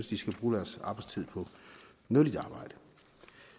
de skal bruge deres arbejdstid på nyttigt arbejde